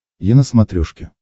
е на смотрешке